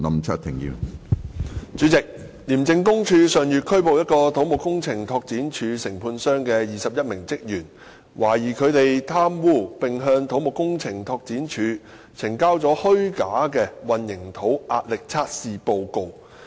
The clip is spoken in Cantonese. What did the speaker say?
主席，廉政公署上月拘捕一個土木工程拓展署承判商的21名職員，懷疑他們貪污並向土木工程拓展署呈交了虛假的混凝土壓力測試報告。